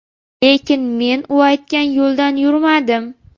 Lekin men u aytgan yo‘ldan yurmadim.